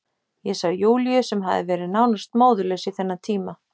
Ég sá Júlíu sem hafði verið nánast móðurlaus í þennan tíma.